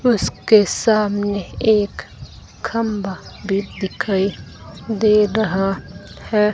उसके सामने एक खंबा भी दिखाई दे रहा है।